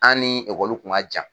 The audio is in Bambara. An ni kun ka jan.